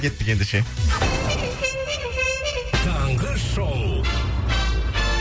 кеттік ендеше таңғы шоу